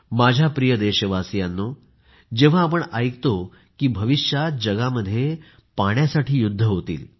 माझ्या प्रिय देशवासियांनो जेव्हा आपण ऐकतो की भविष्यात जगामध्ये पाण्यासाठी युद्ध होतील